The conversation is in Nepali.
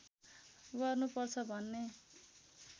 गर्नुपर्छ भन्ने